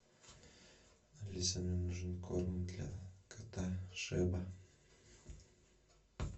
алиса мне нужен корм для кота шеба